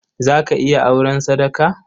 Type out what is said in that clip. Za ki iya auren sadaka?